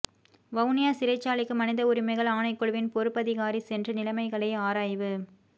வவுனியா சிறைச்சாலைக்கு மனித உரிமைகள் ஆணைக்குழுவின் பொறுப்பதிகாரி சென்று நிலைமைகளை ஆராய்வு